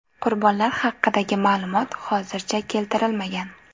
Qurbonlar haqidagi ma’lumot hozircha keltirilmagan.